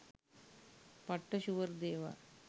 'පට්ට ෂුවර්' දේවල්